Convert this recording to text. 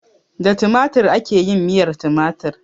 Da tumatir ake yin miyar tumatir.